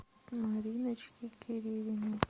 мариночке кирилиной